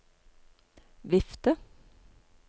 vifte